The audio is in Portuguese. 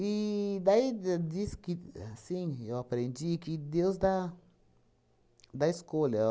daí, de diz que, assim, eu aprendi que Deus dá dá escolha. Ó